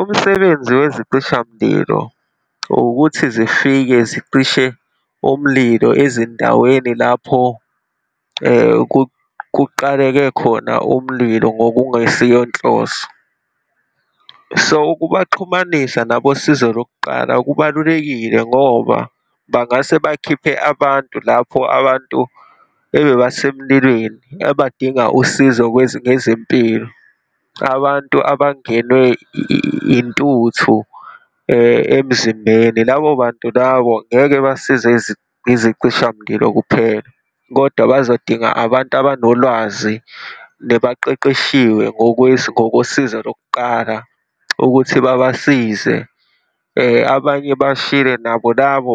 Umsebenzi wezicishamlilo ukuthi zifike zicishe umlilo ezindaweni lapho kuqaleke khona umlilo ngokungesiyonhloso. So, ukubaxhumanisa nabosizo lokuqala kubalulekile ngoba bangase bakhiphe abantu lapho abantu ebebasemlilweni ebadinga usizo ngezempilo, abantu abangenwe intuthu emzimbeni. Labo bantu labo ngeke basizwe izicishamlilo kuphela kodwa bazodinga abantu abanolwazi nebaqeqeshiwe ngokosizo lokuqala ukuthi babasize. Abanye bashile, nabo labo